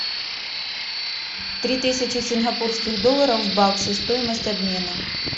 три тысячи сингапурских долларов в баксы стоимость обмена